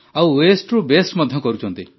ଆଉ ୱେଷ୍ଟ୍ ରୁ ବେଷ୍ଟ୍ ମଧ୍ୟ କରୁଛନ୍ତି